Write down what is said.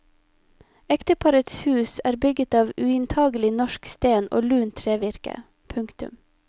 Ekteparets hus er bygget av uinntagelig norsk sten og lunt trevirke. punktum